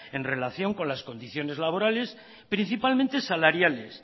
en relación con las condiciones laborales principalmente salariales